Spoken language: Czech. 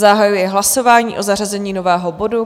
Zahajuji hlasování o zařazení nového bodu.